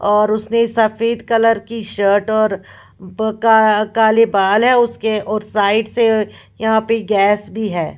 और उसने सफेद कलर की शर्ट और ब का काले बाल है उसके और साइड से यहाँ पे गैस भी है।